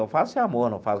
Eu faço amor, não faço.